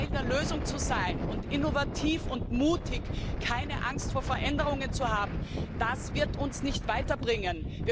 und nicht Teil der Lösung zu sein und innovativ und mutig keine Angst vor Veränderungen zu haben, das wird uns nicht weiterbringen.